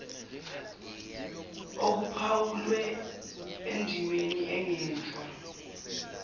okuphawulwe endimeni engenhla